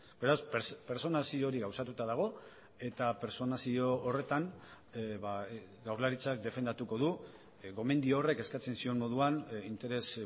beraz pertsonazio hori gauzatuta dago eta pertsonazio horretan jaurlaritzak defendatuko du gomendio horrek eskatzen zion moduan interes